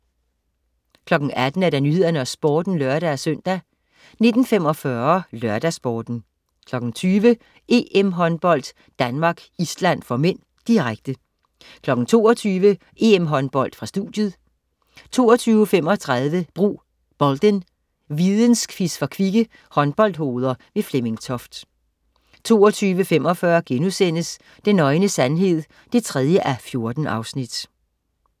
18.00 Nyhederne og Sporten (lør-søn) 19.45 LørdagsSporten 20.00 EM-Håndbold: Danmark-Island (m), direkte 22.00 EM-Håndbold: Studiet 22.35 Brug Bolden. Vidensquiz for kvikke håndboldhoveder. Flemming Toft 22.45 Den nøgne sandhed 3:14*